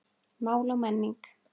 Mál og menning